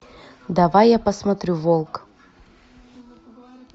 давай я посмотрю волк